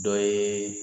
Dɔ ye